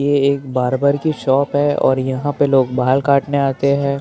ये एक बारबर की शोप हे और यहा पे लोग बाल काटने आते है ए के --